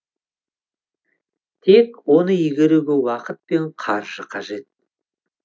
тек оны игеруге уақыт пен қаржы қажет